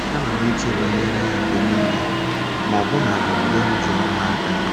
Ana m eche banyere ya mgbe nile, ma ọbụnadị mgbe m ji ọrụ n’aka.